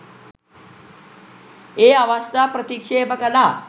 ඒ අවස්ථා ප්‍රතික්ෂේප කළා.